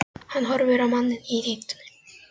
Hann horfir á manninn í ýtunni.